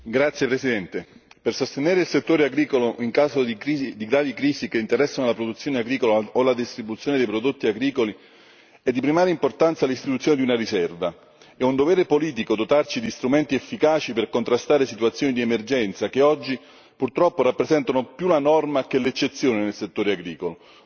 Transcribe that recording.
Grazie Presidente, onorevoli colleghi, per sostenere il settore agricolo in caso di gravi crisi che interessano la produzione agricola o la distribuzione dei prodotti agricoli è di primaria importanza l'istituzione di una riserva. È un dovere politico dotarci di strumenti efficaci per contrastare situazioni di emergenza, che oggi purtroppo rappresentano più la norma che l'eccezione nel settore agricolo.